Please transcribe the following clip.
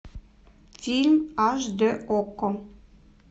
фильм аш д окко